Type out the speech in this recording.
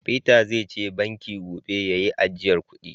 " Peter" zai je banki gobe ya yi ajiyan kudi.